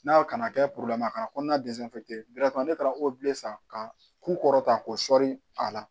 N'a kana kɛ kɔnɔna san ka k'u kɔrɔ ta ko sɔɔri a la